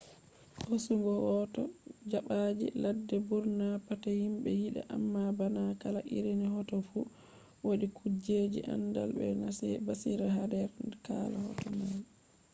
hosugo hoto dabbaji ladde burna pat himbe yida amma bana kala irin hoto fu wadi kujjeji andal be basira hader kala hoto mai